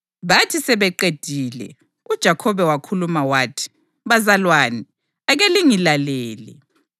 Bathi sebeqedile uJakhobe wakhuluma wathi: “Bazalwane, ake lingilalele.